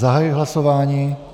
Zahajuji hlasování.